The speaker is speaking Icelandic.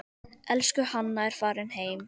Elsku Hanna er farin heim.